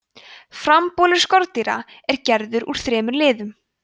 frambolur skordýra er gerður úr þremur liðum